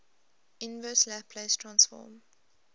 inverse laplace transform